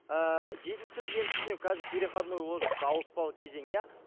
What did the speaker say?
ыыы жетінші сынып мен түсінемін қазір переходной возраст ауыспалы кезең иә